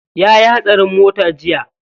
Yayi hatsarin mota jiya.